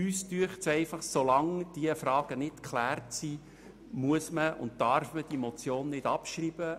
Wir sind einfach der Meinung, so lange diese Fragen nicht geklärt sind, muss und darf man diese Motion nicht abschreiben.